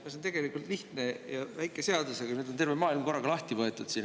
See on tegelikult lihtne väike seadus, aga nüüd on terve maailm korraga lahti võetud siin.